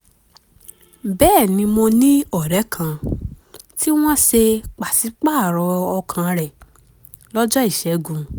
bẹ́ẹ̀ ni mo ní ọ̀rẹ́ kan tí wọ́n ṣe pàṣípààrọ̀ ọkàn rẹ̀ lọ́jọ́ ìṣẹ́gun